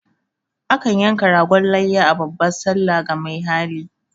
A kan yanka ragon layya a babban sallah ga mai hali.